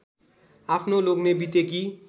आफ्नो लोग्ने बितेकी